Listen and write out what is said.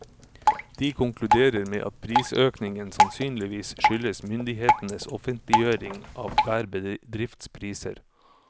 De konkluderer med at prisøkningen sannsynligvis skyldes myndighetenes offentliggjøring av hver bedrifts priser.